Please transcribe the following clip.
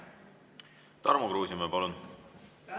Tarmo Kruusimäe, palun!